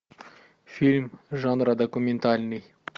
фильм жанра документальный